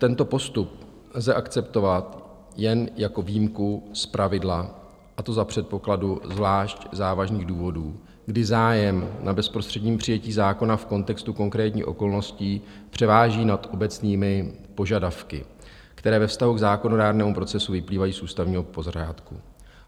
Tento postup lze akceptovat jen jako výjimku z pravidla, a to za předpokladu zvlášť závažných důvodů, kdy zájem na bezprostředním přijetí zákona v kontextu konkrétních okolností převáží nad obecnými požadavky, které ve vztahu k zákonodárnému procesu vyplývají z ústavního pořádku.